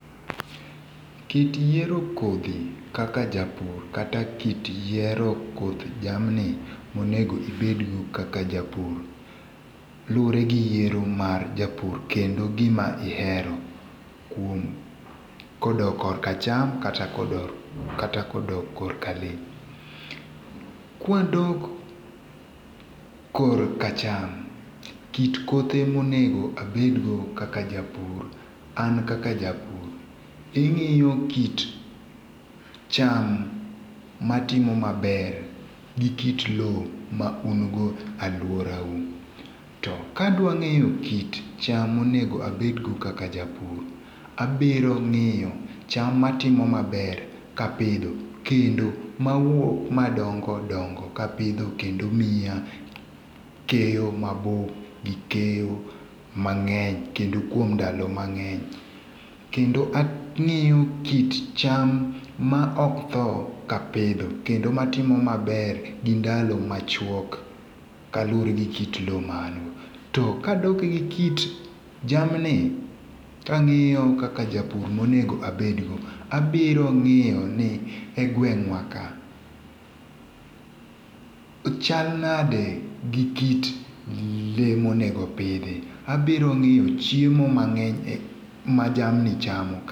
Kit yiero kodhi kaka japur kata kit yiero koth jamni monego ibedgo kaka japur, luore gi yiero mar japur kendo gima ihero kuom kodok kor ka cham kata kodok kata kodok kor ka le. Kwa dok kor ka cham kit kothe monego abedgo kaka japur an kaka japur ing'iyo kit cham matimo maber gi kit lo ma un go alwora u. To ka adwa ng'eyo kit cham monego abedgo kaka japur abiro ng'iyo cham matimo maber kapidho kendo mawuok madongodongo kapidho kendo miya keyo mabup gi keyo mang'eny kendo kuom ndalo mange'ny. Kendo ang'iyo kit cham ma ok tho ka apidho kendo matimo maber gi ndalo machuok ka lure gi kit lo ma ango. To ka adok gi kit jamni ka ang'iyo kaka japur monego abedgo abiro ng'iyo ni e gweng'wa ka chal nade gi kit le monego bede. Abiro ng'iyo chiemo mang'eny ma jamni chamo.